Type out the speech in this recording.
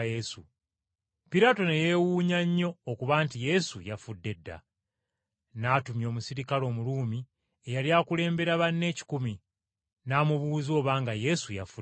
Piraato ne yeewuunya nnyo okuba nti Yesu yafudde dda. N’atumya omuserikale Omuruumi eyali akulembera banne ekikumi, n’amubuuza obanga Yesu yafudde dda.